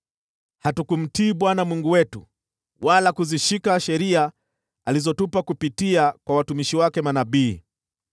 Hatukumtii Bwana Mungu wetu wala kuzishika sheria alizotupa kupitia kwa watumishi wake manabii.